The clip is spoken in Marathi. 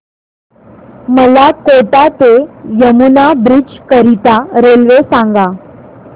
मला कोटा ते यमुना ब्रिज करीता रेल्वे सांगा